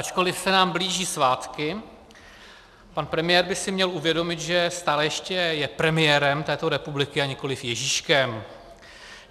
Ačkoliv se nám blíží svátky, pan premiér by si měl uvědomit, že stále ještě je premiérem této republiky a nikoliv Ježíškem.